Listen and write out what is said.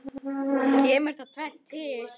Kemur þar tvennt til.